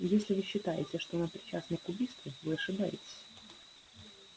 если вы считаете что она причастна к убийству вы ошибаетесь